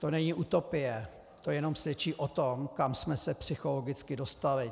To není utopie, to jenom svědčí o tom, kam jsme se psychologicky dostali.